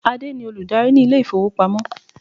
Adé ni olùdarí ni ilé ifowopamo.